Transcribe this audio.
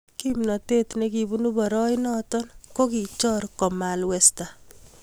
Kimnatet nekibunu boroinoto kokichor komalwesta